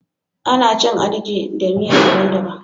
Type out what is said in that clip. Ana cin " Agidi" da miya dabban -dabban.